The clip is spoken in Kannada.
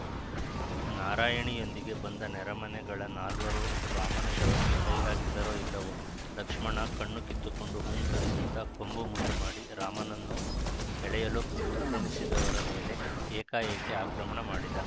ನಾರಾಯಣಿಯೊಂದಿಗೆ ಬಂದ ನೆರೆಮನೆಗಳ ನಾಲ್ವರು ರಾಮನ ಶವಕ್ಕೆ ಕೈಹಾಕಿದರೊ ಇಲ್ಲವೊ ಲಕ್ಷ್ಮಣ ಕಣ್ಣಿಕಿತ್ತುಕೊಂಡು ಹೂಂಕರಿಸುತ್ತಾ ಕೊಂಬು ಮುಂದುಮಾಡಿ ರಾಮನನ್ನು ಎಳೆಯಲುಪಕ್ರಮಿಸಿದವರ ಮೇಲೆ ಏಕಾಏಕಿ ಆಕ್ರಮಣ ಮಾಡಿದ